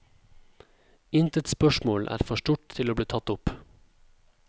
Intet spørsmål er for stort til å bli tatt opp.